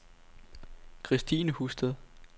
Christine Husted